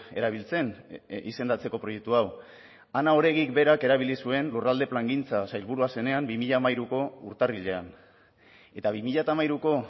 erabiltzen izendatzeko proiektu hau ana oregik berak erabili zuen lurralde plangintza sailburua zenean bi mila hamairuko urtarrilean eta bi mila hamairuko